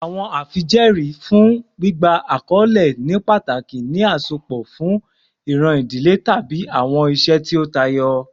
Awọn afijẹẹri fun gbigba akọle ni pataki ni asopọ si iran idile tabi awọn iṣe ti o tayọ